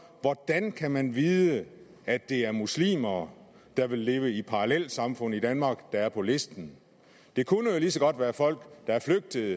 hvordan kan man vide at det er muslimer der vil leve i parallelsamfund i danmark der er på listen det kunne jo lige så godt være folk der er flygtet